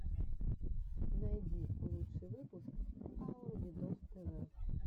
найди лучший выпуск аур видос тв